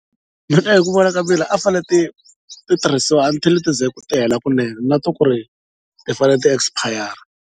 Mina hi ku vona ka mina a ti fane ti ti tirhisiwa until ti ze ti hela kunene not ku ri ti fanele ti-expire.